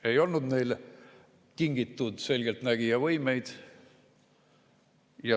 Ei olnud neile kingitud selgeltnägijavõimeid.